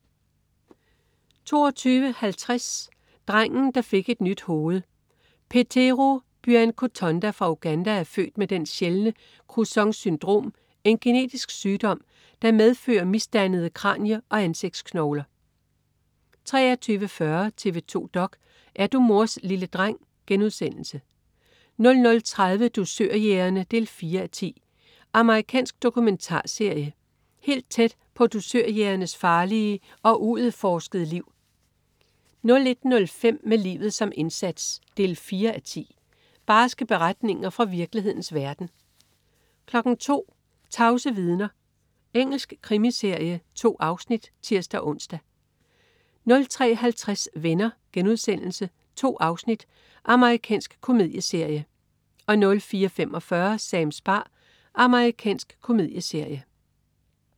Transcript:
22.50 Drengen, der fik et nyt hoved. Petero Byakatonda fra Uganda er født med den sjældne Crouzons syndrom, en genetisk sygdom, der medfører misdannede kranie- og ansigtsknogler 23.40 TV 2 dok.: Er du mors lille dreng?* 00.30 Dusørjægerne 4:10. Amerikansk dokumentarserie. Helt tæt på dusørjægernes farlige og uudforskede liv 01.05 Med livet som indsats 4:10. Barske beretninger fra virkelighedens verden 02.00 Tavse vidner. Engelsk krimiserie. 2 afsnit (tirs-ons) 03.50 Venner.* 2 afsnit. Amerikansk komedieserie 04.45 Sams bar. Amerikansk komedieserie